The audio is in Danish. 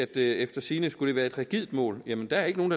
det efter sigende skulle være et rigidt mål jamen der er ikke nogen